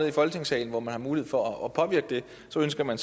i folketingssalen hvor man har mulighed for at påvirke det så ønsker man